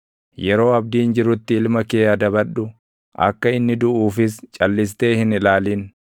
Yeroo abdiin jirutti ilma kee adabadhu; akka inni duʼuufis calʼistee hin ilaalin.